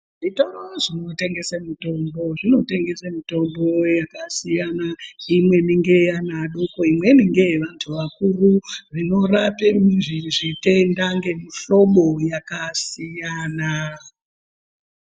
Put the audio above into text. Zvitoro zvinotengese mitombo zvinotengese mitombo yakasiyana imweni ngeana adoko imweni ngevantu akuru zvinorape zvitenda ngemihlombo yakasiyana.